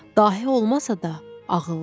Dahi olmasa da, ağıllı idi.